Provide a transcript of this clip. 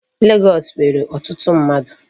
Legọọsị nwere ọtụtụ mmadụ.